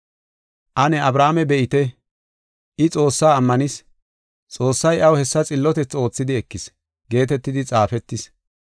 Ane Abrahaame be7ite, “I Xoossaa ammanis; Xoossay iyaw hessa xillotethi oothidi ekis” geetetidi xaafetis.